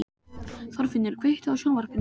Þorfinnur, kveiktu á sjónvarpinu.